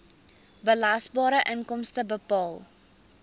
belasbare inkomste bepaal